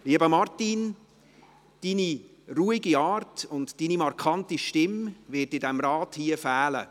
Lieber Martin Boss, Ihre ruhige Art und markante Stimme wird hier im Rat fehlen.